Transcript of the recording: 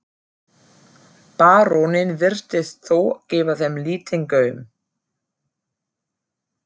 Baróninn virtist þó gefa þeim lítinn gaum.